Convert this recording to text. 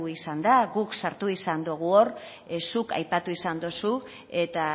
izan da guk sartu izan dogu hor zuk aipatu izan dozu eta